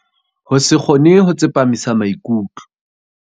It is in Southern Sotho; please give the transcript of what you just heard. Ho se kgone ho tsepamisa maikutlo.